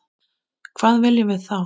Hvað viljum við þá?